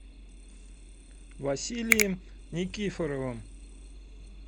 василием никифоровым